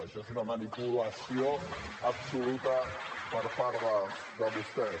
això és una manipulació absoluta per part de vostès